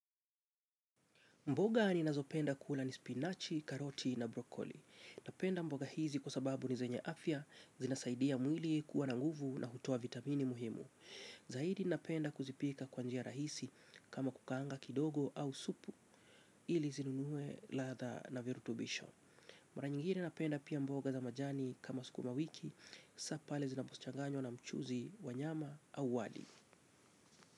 Mboga ninazopenda kula ni spinachi, karoti na brokoli. Napenda mboga hizi kwa sababu ni zenye afya, zinasaidia mwili kuwa na nguvu na hutoa vitamini muhimu. Zaidi napenda kuzipika kwa njia rahisi kama kukaanga kidogo au supu ili zinunue ladha na virutubisho. Mara nyingine napenda pia mboga za majani kama sukuma wiki, saa pale zinapo changanywa na mchuzi wa nyama au wali.